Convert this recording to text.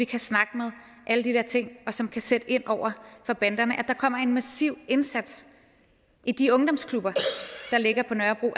kan snakke med alle de der ting og som kan sætte ind over for banderne altså at der kommer en massiv indsats i de ungdomsklubber der ligger på nørrebro